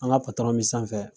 An ka me sanfɛ fɛ